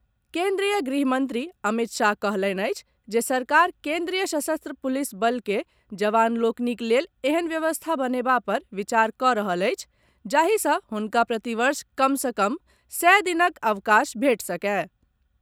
केन्द्रीय गृहमंत्री अमित शाह कहलनि अछि जे सरकार केन्द्रीय सशस्त्र पुलिस बल के जवान लोकनिक लेल एहेन व्यवस्था बनेबा पर विचार कऽ रहल अछि जाहि सँ हुनका प्रतिवर्ष कम सँ कम सय दिनक अवकाश भेटि सकय।